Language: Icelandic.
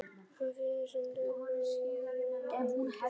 Það er fyrsti sunnudagur í aðventu og komið að slúðrinu.